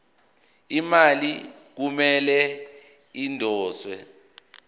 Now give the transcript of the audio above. imali kumele idonswe